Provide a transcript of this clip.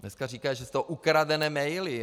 Dneska říká, že jsou to ukradené maily.